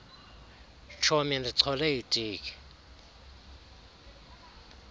tshomi ndichole itiki